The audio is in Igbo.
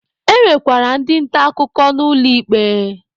E nwekwara ndị nta akụkọ ụlọ ikpe.